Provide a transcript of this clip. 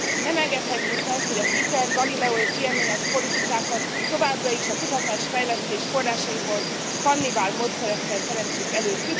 Nem engedhetjük meg, hogy az ITER, a Galileo, és az IMAS politikákat továbbra is a kutatás fejlesztés forrásaiból, kannibál módszerekkel teremtsük elő.